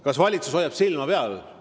Kas valitsus hoiab silma peal?